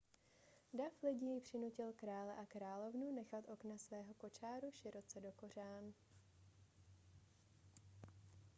dav lidí přinutil krále a královnu nechat okna svého kočáru široce dokořán